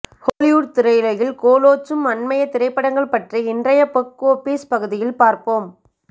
Hollywood திரையுலகில் கோளோச்சும் அண்மைய திரைப்படங்கள் பற்றி இன்றைய பொக் ஒஃப்பீஸ் பகுதியில் பார்ப்போம்